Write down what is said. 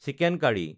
chicken curry